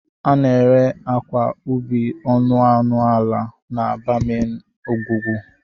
A na-ere akwa ubi ọnụ ọnụ ala n'aba main ngwugwu.